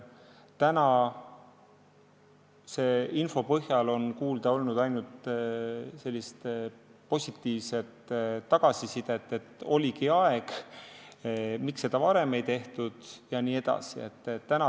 Tänase info põhjal on kuulda olnud ainult positiivset tagasisidet, et oligi aeg, miks seda varem ei ole tehtud jne.